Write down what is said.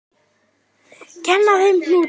Kenna þeim hnúta?